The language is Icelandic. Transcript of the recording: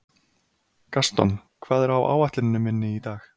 Gaston, hvað er á áætluninni minni í dag?